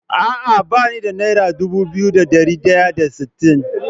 Ah ah bani da naira Dubu biyu da dari daya da sittin